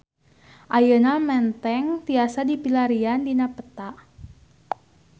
Ayeuna Menteng tiasa dipilarian dina peta